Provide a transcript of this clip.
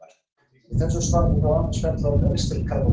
Í þessu svari er þó aðeins fjallað um ristilkrabbamein.